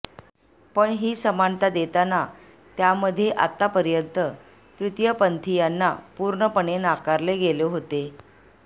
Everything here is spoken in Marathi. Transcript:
पण ही समानता देताना त्यामध्ये आतापर्यंत तृतीयपंथीयांना पूर्णपणे नाकारले गेले होते